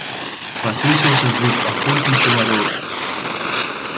послышался звук охотничьего рога